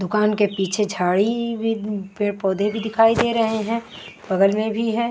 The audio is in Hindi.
दुकान के पीछे झाड़ी भी पेड़ पौधे भी दिखाई दे रहे है बगल में भी है।